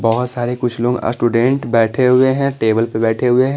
बहुत सारे कुछ लोग स्टूडेंट बैठे हुए हैं टेबल पे बैठे हुए हैं।